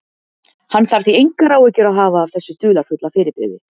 Hann þarf því engar áhyggjur að hafa af þessu dularfulla fyrirbrigði.